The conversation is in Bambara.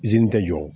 Izini tɛ jɔ